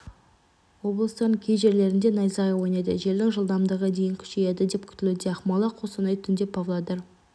облыстарының кей жерлерінде найзағай ойнайды желдің жылдамдығы дейін күшейеді деп күтілуде ақмола қостанай түнде павлодар